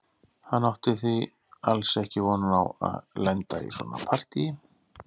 Hann átti því alls ekki von á að lenda í svona partíi.